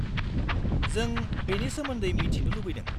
-जों बेनि सोमोन्दै मिथिनो लुबैदों।